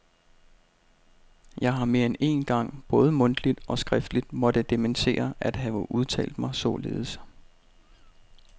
Jeg har mere end én gang både mundtligt og skriftligt måtte dementere at have udtalt mig således.